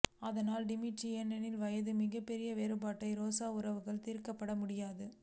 ஆனால் டிமிட்ரி ஏனெனில் வயது மிகப்பெரிய வேறுபாட்டை ரோசா உறவுகள் தீர்க்கப்பட முடியாது